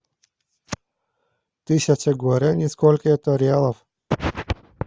тысяча гуарани сколько это реалов